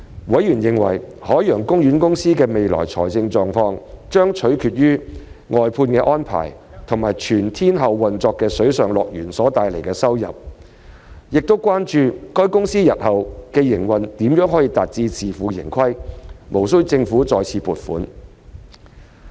委員認為，海洋公園公司的未來財務狀況將取決於外判安排及全天候運作的水上樂園所帶來的收入，並關注海洋公園公司日後的營運如何能達至自負盈虧，而無需政府再次撥款。